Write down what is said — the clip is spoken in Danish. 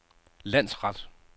landsret